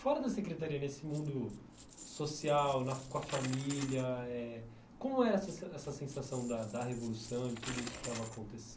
Fora da Secretaria, nesse mundo social, na com a família eh, como é essa sen essa sensação da revolução e de tudo isso que estava